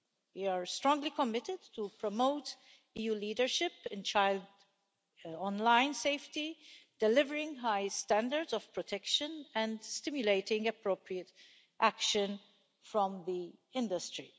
We are strongly committed to promoting EU leadership in child online safety ,delivering high standards of protection and stimulating appropriate action from the industry.